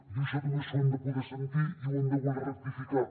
i això també s’ho han de poder sentir i ho han de voler rectificar